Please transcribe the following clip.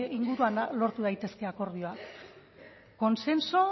inguruan lortu daitezke akordioak consenso